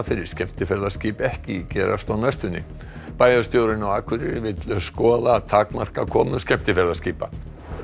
fyrir skemmtiferðaskip ekki gerast á næstunni bæjarstjórinn á Akureyri vill skoða að takmarka komur skemmtiferðaskipa